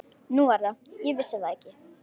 Nú er það, ég vissi það ekki.